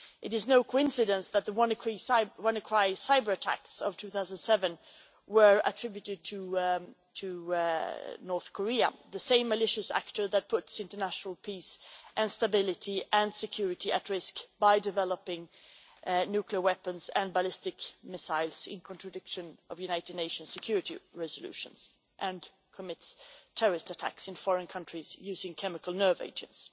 It is no coincidence that the Wannacry cyber-attacks of 2007 were attributed to North Korea the same malicious actor that puts international peace and stability and security at risk by developing nuclear weapons and ballistic missiles in contradiction of United Nations Security resolutions, and commits terrorist attacks in foreign countries using chemical nerve agents.